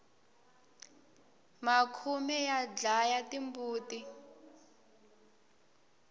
makhume ya dlaya timbuti